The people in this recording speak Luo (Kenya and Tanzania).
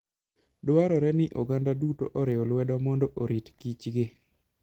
Dwarore ni oganda duto oriw lwedo mondo orit kichgi.